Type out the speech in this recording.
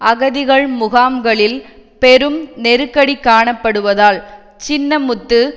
அகதிகள் முகாம்களில் பெரும் நெருக்கடி காணப்படுவதால் சின்னமுத்து